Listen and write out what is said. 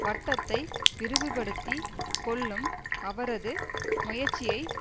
வட்டத்தை விரிவுபடுத்திக் கொள்ளும் அவரது முயற்சியை